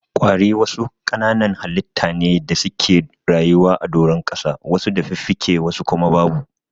Ƙwari wasu kananan halitta ne da suke rayuwa a doron ƙasa wasu da fiffike wasu kuma babu.